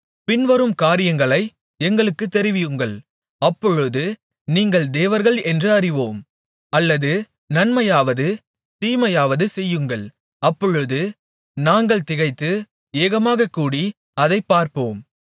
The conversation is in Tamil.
பின்வரும் காரியங்களை எங்களுக்குத் தெரிவியுங்கள் அப்பொழுது நீங்கள் தேவர்கள் என்று அறிவோம் அல்லது நன்மையாவது தீமையாவது செய்யுங்கள் அப்பொழுது நாங்கள் திகைத்து ஏகமாகக் கூடி அதைப்பார்ப்போம்